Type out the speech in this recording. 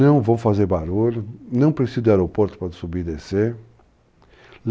não vou fazer barulho, não preciso de aeroporto para subir e descer.